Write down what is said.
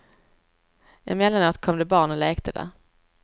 Emellanåt kom det barn och lekte där.